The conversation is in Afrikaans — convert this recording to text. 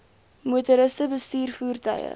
motoriste bestuur voertuie